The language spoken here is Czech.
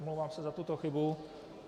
Omlouvám se za tuto chybu.